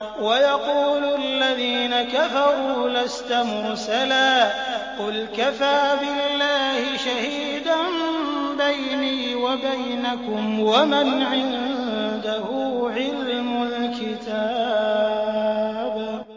وَيَقُولُ الَّذِينَ كَفَرُوا لَسْتَ مُرْسَلًا ۚ قُلْ كَفَىٰ بِاللَّهِ شَهِيدًا بَيْنِي وَبَيْنَكُمْ وَمَنْ عِندَهُ عِلْمُ الْكِتَابِ